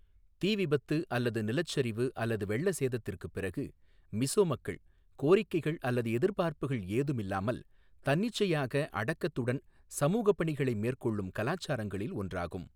தீ விபத்து அல்லது நிலச்சரிவு அல்லது வெள்ள சேதத்திற்குப் பிறகு, மிஸோ மக்கள் கோரிக்கைகள் அல்லது எதிர்பார்ப்புகள் ஏதும் இல்லாமல் தன்னிச்சையாக அடக்கத்துடன் சமூகப் பணிகளை மேற்கொள்ளும் கலாச்சாரங்களில் ஒன்றாகும்.